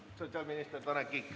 Vastab sotsiaalminister Tanel Kiik.